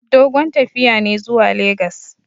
Dogon tafiya ne zuwa legas.